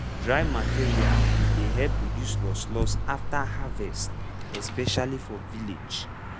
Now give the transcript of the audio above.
dry material dey help reduce loss loss after harvest especially for village.